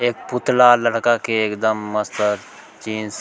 एक पुतला लड़का के एकदम मस्त जीन्स --